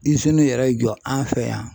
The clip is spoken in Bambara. yɛrɛ jɔ an fɛ yan.